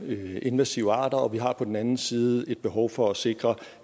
de her invasive arter og vi har på den anden side behov for at sikre